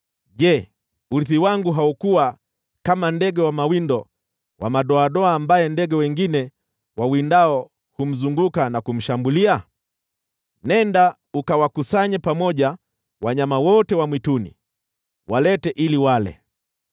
Je, urithi wangu haukuwa kama ndege wa mawindo wa madoadoa ambaye ndege wengine wawindao humzunguka na kumshambulia? Nenda ukawakusanye pamoja wanyama wote wa mwituni; walete ili wale.